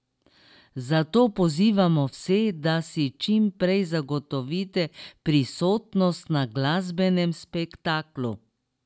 Zato pozivamo vse, da si čim prej zagotovite prisotnost na glasbenem spektaklu!